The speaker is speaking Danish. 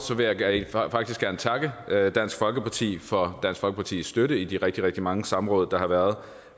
vil jeg faktisk gerne takke dansk folkeparti for dansk folkepartis støtte i de rigtig rigtig mange samråd der har været